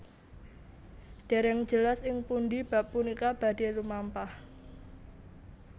Dèrèng jelas ing pundhi bab punika badhé lumampah